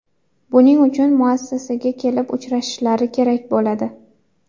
Buning uchun muassasaga kelib uchrashishlari kerak bo‘ladi.